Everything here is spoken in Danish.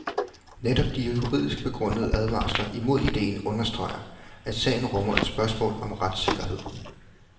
Netop de juridisk begrundede advarsler imod ideen understreger, at sagen rummer et spørgsmål om retssikkerhed.